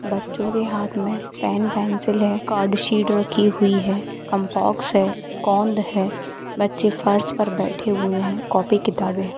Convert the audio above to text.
बच्चो के हाथ में पेन पेंसिल हैं कार्ड शीट रखी हुई है कंपास है गोंद है बच्चे फर्श पर बैठे हुए हैं कॉपी किताबें है।